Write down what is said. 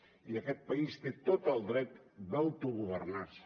i aquest país té tot el dret d’autogovernar se